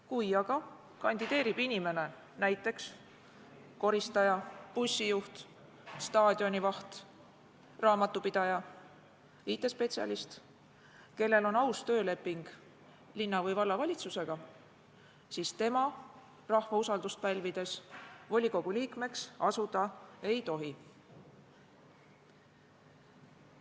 Kui aga kandideerib inimene, näiteks koristaja, bussijuht, staadionivaht, raamatupidaja, IT-spetsialist, kellel on tööleping linna- või vallavalitsusega, siis tema rahva usaldust pälvides volikogu liikmeks asuda ei tohi.